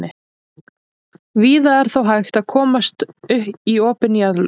víða er þó hægt að komast í opin jarðlög